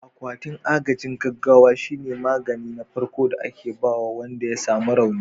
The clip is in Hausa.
Akwatin agajin gaggawa shine magani na farko da ake ba wanda ya samu rauni.